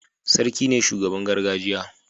Sarki ne shugaban gargajiya